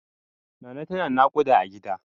Nana tana naƙuda a gida.